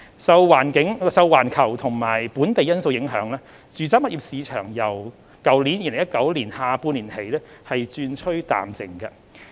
受環球和本地因素影響，住宅物業市場由2019年下半年起轉趨淡靜。